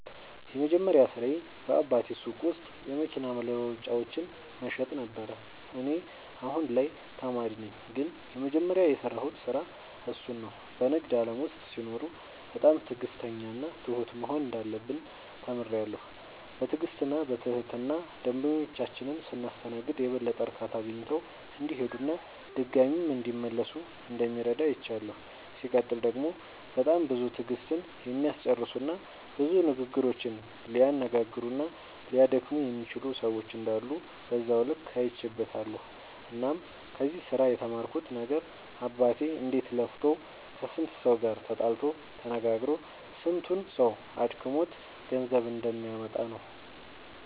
የመጀመሪያ ስራዬ በአባቴ ሱቅ ውስጥ የመኪና መለዋወጫዎችን መሸጥ ነበረ። እኔ አሁን ላይ ተማሪ ነኝ ግን የመጀመሪያ የሰራሁት ስራ እሱን ነው። በንግድ ዓለም ውስጥ ሲኖሩ በጣም ትዕግሥተኛና ትሁት መሆን እንዳለብን ተምሬያለሁ። በትዕግሥትና በትህትና ደንበኞቻችንን ስናስተናግድ የበለጠ እርካታ አግኝተው እንዲሄዱና ድጋሚም እንዲመለሱ እንደሚረዳ አይቻለሁ። ሲቀጥል ደግሞ በጣም ብዙ ትዕግሥትን የሚያስጨርሱና ብዙ ንግግሮችን ሊያነጋግሩና ሊያደክሙ የሚችሉ ሰዎች እንዳሉ በዛው ልክ አይቼበትበታለሁ። እናም ከዚህ ስራ የተማርኩት ነገር አባቴ እንዴት ለፍቶ ከስንቱ ሰው ጋር ተጣልቶ ተነጋግሮ ስንቱ ሰው አድክሞት ገንዘብ እንደሚያመጣ ነው።